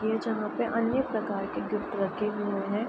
ये जहाँ पे अन्य प्रकार के गिफ्ट रखे हुए हैं।